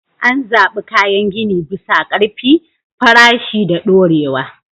An zaɓi kayan gini bisa ƙarfi, farashi, da dorewa.